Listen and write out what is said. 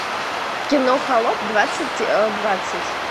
кино холоп двадцать двадцать